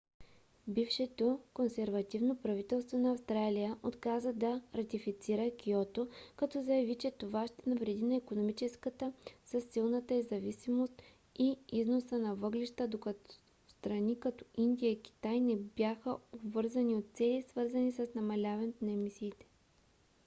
бившето консервативно правителство на австралия отказа да ратифицира киото като заяви че това ще навреди на икономиката със силната й зависимост от износа на въглища докато страни като индия и китай не бяха обвързани от цели свързани с намаляването на емисиите